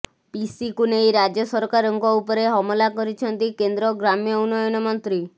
ପିସିକୁ ନେଇ ରାଜ୍ୟ ସରକାରଙ୍କ ଉପରେ ହମଲା କରିଛନ୍ତି କେନ୍ଦ୍ର ଗ୍ରାମ୍ୟ ଉନ୍ନୟନ ମନ୍ତ୍ରୀ